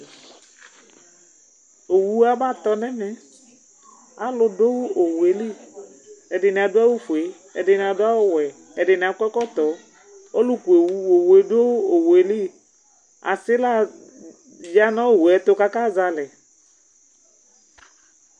owu abe tɔ nu ɛmɛ, alu du Owue li, ɛdini adu awu fue, ɛdini adu awu wɛ, ɛdi akɔ ɛkɔtɔ, ɔlu ku Owue du Owue li, asila ya nu Owue tu ku aka zɛ alɛ